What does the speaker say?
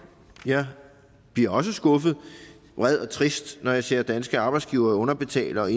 jeg bliver også skuffet vred og trist når jeg ser danske arbejdsgivere underbetale og